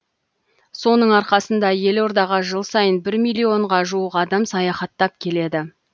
соның арқасында елордаға жыл сайын бір миллионға жуық адам саяхаттап келеді